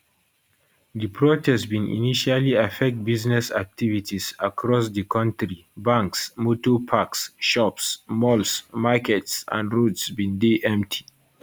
di protest bin initially affect business activities across di kontri banks motor parks shops malls markets and roads bin dey empty